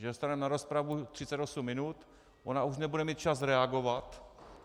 Že dostaneme na rozpravu 38 minut, ona už nebude mít čas reagovat.